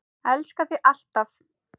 Elska þig alltaf.